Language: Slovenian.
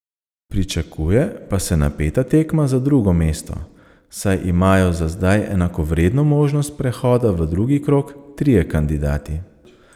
Pričakuje pa se napeta tekma za drugo mesto, saj imajo za zdaj enakovredno možnost prehoda v drugi krog trije kandidati.